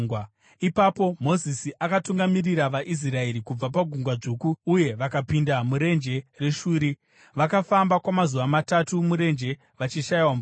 Ipapo Mozisi akatungamirira vaIsraeri kubva paGungwa Dzvuku uye vakapinda murenje reShuri. Vakafamba kwamazuva matatu murenje vachishayiwa mvura.